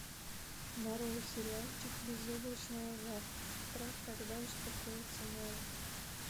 нарой сериальчик безоблачное завтра когда успокоится море